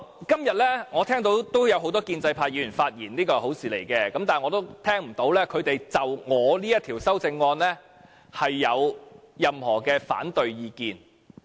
今天我聽到不少建制派議員發言，這是好事，我亦聽不到他們就我這項修正案有任何反對意見。